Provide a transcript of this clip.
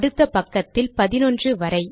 அடுத்த பக்கத்தில் 11 வரை